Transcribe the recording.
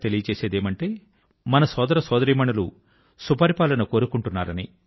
స్పష్టం గా మన సోదర సోదరీమణులు గుడ్ గవర్నెన్స్ కోరుకుంటున్నారు అని